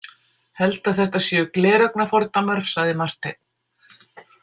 Held að þetta séu gleraugnafordómar, sagði Marteinn.